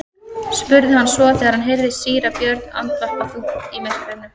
spurði hann svo þegar hann heyrði síra Björn andvarpa þungt í myrkrinu.